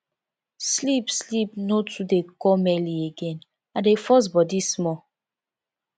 sleep sleep no too dey come early again i dey force body small